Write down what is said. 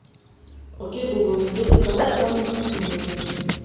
окей гугл где заказать самые вкусные бургеры